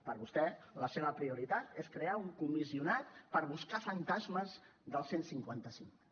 per vostè la seva prioritat és crear un comissionat per buscar fantasmes del cien y cincuenta cinco